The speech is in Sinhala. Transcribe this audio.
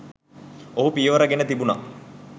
ඔහු පියවර ගෙන තිබුණා